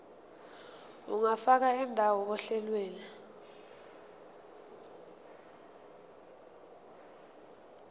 ungafaka indawo ohlelweni